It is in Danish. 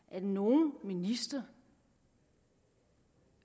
at nogen minister